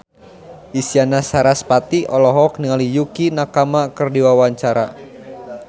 Isyana Sarasvati olohok ningali Yukie Nakama keur diwawancara